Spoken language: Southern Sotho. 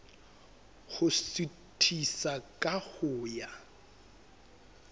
ho suthisa ka ho ya